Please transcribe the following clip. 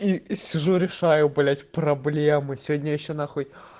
и сижу решаю блядь проблемы сегодня ещё нахуй